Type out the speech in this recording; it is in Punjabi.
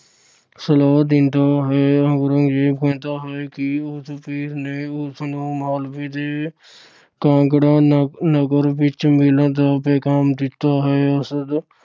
ਸਲਾਹ ਦਿੰਦਾ ਹੈ। ਔਰੰਗਜ਼ੇਬ ਕਹਿੰਦਾ ਹੈ ਕਿ ਉਸ ਪੀਰ ਨੇ ਉਸ ਨੂੰ ਮਾਲਵੇ ਦੇ ਕਾਂਗੜਾ ਨਗ ਅਹ ਨਗਰ ਵਿੱਚ ਮਿਲਣ ਦਾ ਪੈਗਾਮ ਦਿੱਤਾ ਹੈ। ਅਰਸ਼ਦ